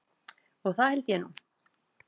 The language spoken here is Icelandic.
Og það held ég nú.